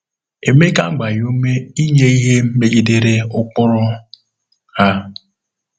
Emeka agbaghị ume inye ihe megidere ụkpụrụ a.